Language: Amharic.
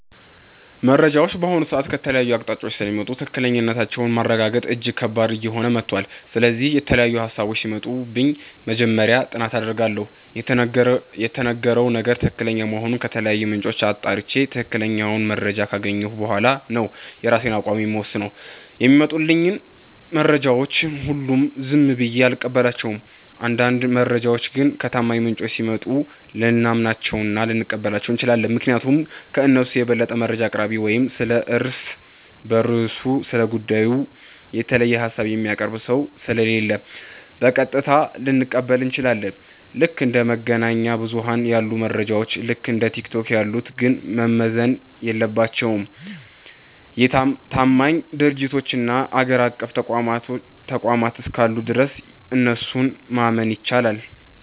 መረጃዎች በአሁኑ ሰዓት ከተለያዩ አቅጣጫዎች ስለሚመጡ ትክክለኛነታቸውን ማረጋገጥ እጅግ ከባድ እየሆነ መጥቷል። ስለዚህ፣ የተለያዩ ሃሳቦች ሲመጡብኝ መጀመሪያ ጥናት አደርጋለሁ። የተነገረው ነገር ትክክለኛ መሆኑን ከተለያዩ ምንጮች አጣርቼ፣ ትክክለኛውን መረጃ ካገኘሁ በኋላ ነው የራሴን አቋም የምወስነው። የሚመጡልኝን መረጃዎች ሁሉ ዝም ብዬ አልቀበላቸውም። አንዳንድ መረጃዎች ግን ከታማኝ ምንጮች ሲመጡ ልናምናቸውና ልንቀበላቸው እንችላለን። ምክንያቱም ከእነሱ የበለጠ መረጃ አቅራቢ ወይም ስለ እርስ በርሱ ስለ ጉዳዩ የተለየ ሃሳብ የሚያቀርብ ሰው ስለሌለ፣ በቀጥታ ልንቀበል እንችላለን። ልክ እንደ መገናኛ ብዙኃን ያሉ መረጃዎች፣ ልክ እንደ ቲክቶክ ያሉት ግን መመዘን የለባቸውም። ታማኝ ድርጅቶችና አገር አቀፍ ተቋማት እስካሉ ድረስ እነሱን ማመን ይቻላል።